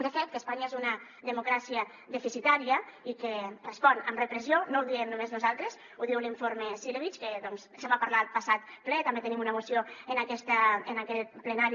de fet que espanya és una democràcia deficitària i que respon amb repressió no ho diem només nosaltres ho diu l’informe cilevics que se’n va parlar el passat ple i també en tenim una moció en aquest plenari